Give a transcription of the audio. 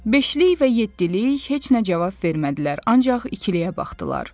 Beşlik və yeddilik heç nə cavab vermədilər, ancaq ikiliyə baxdılar.